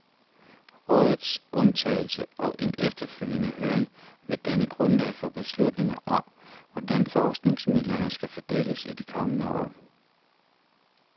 Rådets udtalelse og en efterfølgende høring vil danne grundlag for beslutninger om, hvordan forskningsmidlerne skal fordeles i de kommende år.